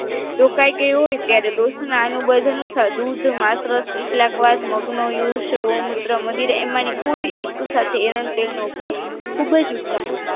તો ક્યાક એવુ ત્યારે દોષના અનુબદ્ધ અનુસાર દૂધ માત્ર કેટલકવાર મગનો use ગૌમૂત્ર મદિરા એમાંની કોઈ એક સાથે એરંચરી નો ઉપયોગ ખૂબ જ ઉત્તમ